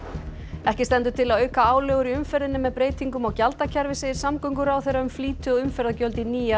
ekki stendur til að auka álögur í umferðinni með breytingum á gjaldakerfi segir samgönguráðherra um flýti og umferðargjöld í nýja